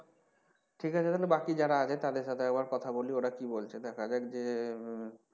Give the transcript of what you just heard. ঠিক আছে তাহলে বাকি যারা আগে তাদের সাথে একবার কথা বলি ওরা কী বলছে দেখা যাক যে,